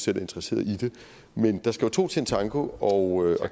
interesserede i det men der skal to til en tango og